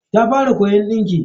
Ta fara koyon dinki.